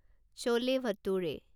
chole ভাতুৰে